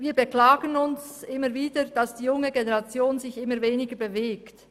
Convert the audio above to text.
Wir beklagen uns, dass sich die junge Generation immer weniger bewegt.